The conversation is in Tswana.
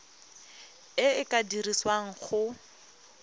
e e ka dirisiwang go